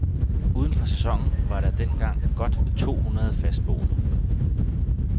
Uden for sæsonen var der dengang godt to hundrede fastboende.